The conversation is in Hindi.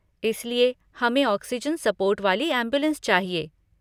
इसलिए, हमें ऑक्सिजन सपोर्ट वाली ऐम्बुलेन्स चाहिए।